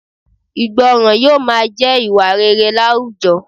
Ìgbọràn yóò máa jẹ́ ìwà rere láwùjọ